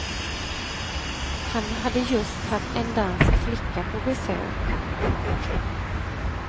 Han hade just haft en dansk flicka på besök.